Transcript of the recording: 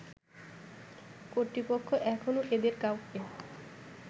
কর্তৃপক্ষ এখনও এদের কাউকে